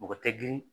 Mɔgɔ tɛ girin